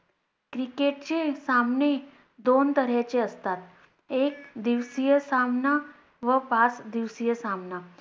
Cricket चे सामने दोन तऱ्हेचे असतात, एक दिवसीय सामना व पाच दिवसीय सामना.